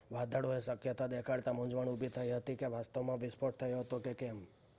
વાદળોએ શક્યતા દેખાડતા મૂંઝવણ ઉભી થઈ હતી કે વાસ્તવમાં વિસ્ફોટ થયો હતો કે કેમ